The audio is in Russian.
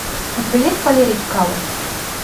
у тебя есть валерий чкалов